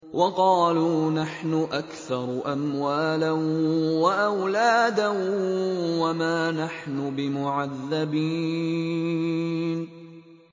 وَقَالُوا نَحْنُ أَكْثَرُ أَمْوَالًا وَأَوْلَادًا وَمَا نَحْنُ بِمُعَذَّبِينَ